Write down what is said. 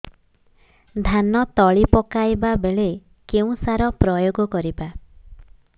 ଧାନ ତଳି ପକାଇବା ବେଳେ କେଉଁ ସାର ପ୍ରୟୋଗ କରିବା